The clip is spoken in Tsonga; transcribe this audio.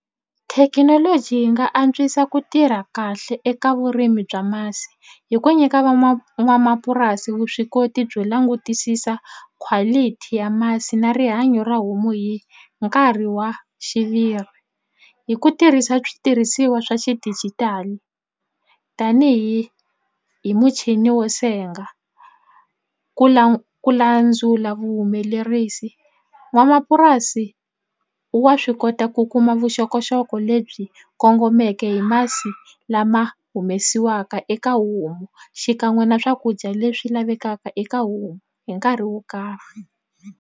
Thekinoloji yi nga antswisa ku tirha kahle eka vurimi bya masi hi ku nyika van'wamapurasi vuswikoti byo langutisisa quality ya masi na rihanyo ra homu hi nkarhi wa xiviri hi ku tirhisa switirhisiwa swa xidijitali tanihi hi muchini wo senga ku ku landzula vuhumelerisi n'wamapurasi wa swi kota ku kuma vuxokoxoko lebyi kongomeke hi masi lama humesiwaka eka homu xikan'we na swakudya leswi lavekaka eka homu hi nkarhi wo karhi.